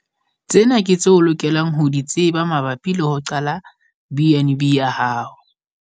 Tsena ke tseo o lokelang ho di tseba mabapi le ho qala BnB ya hao.